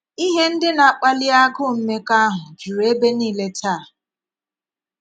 Ihe ndị na - akpàlí agụụ̀ mmekọahụ juru ebe niile tàà.